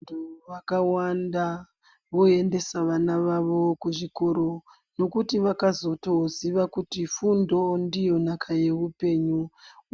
Vantu vakawanda voendesa vana vavo kuzvikora nekuti vakazoziva kuti fundo ndiyo nhaka yehupenyu